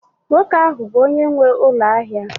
nwoke ahụ bụ onye nwe ụlọ ahịa